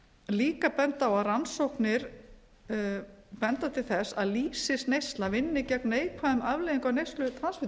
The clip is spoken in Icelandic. líka benda til þess að lýsisneysla vinni gegn neikvæðum afleiðingum á neyslu transfitusýra mér